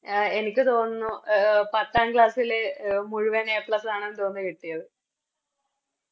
ആഹ് എനിക്ക് തോന്നുന്നു പത്താം Class ല് മുഴുവൻ A plus ആണെന്ന് തോന്നുന്നു കിട്ടിയത്